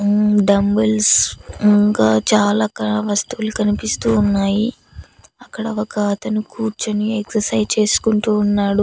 హ్మ్మ్ dumbbells ఇంకా చాలారకాల వస్తువులు కనిపిస్తూ ఉన్నాయి అక్కడ ఒక అతను కూర్చొని ఎక్సర్సైజ్ చేసుకుంటూ ఉన్నాడు.